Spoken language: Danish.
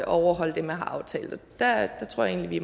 overholde det man har aftalt og der tror jeg egentlig